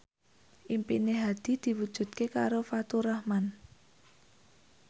impine Hadi diwujudke karo Faturrahman